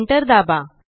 Enter दाबा